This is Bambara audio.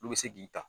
Olu bɛ se k'i ta